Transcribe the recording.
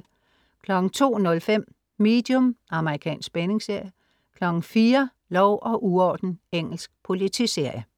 02.05 Medium. amr. spændingsserie 04.00 Lov og uorden. Engelsk politiserie